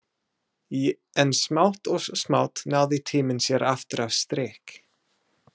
En smátt og smátt náði tíminn sér aftur á strik.